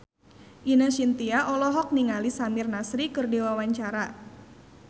Ine Shintya olohok ningali Samir Nasri keur diwawancara